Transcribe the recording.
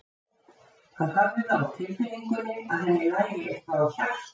Hann hafði það á tilfinningunni að henni lægi eitthvað á hjarta.